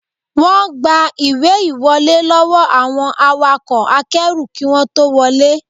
Wọ́n gba ìwé ìwọlé lọ́wọ́ àwọn awakọ̀ akẹ́rù kí wọ́n tó wọlé